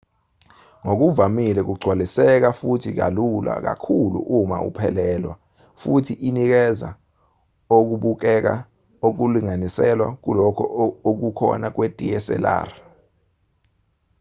ngokuvamile kugcwaliseka futhi kalula kakhulu uma uphelelwa futhi inikeza okubukeka okulinganiselwa kulokho okukhona kwe-dslr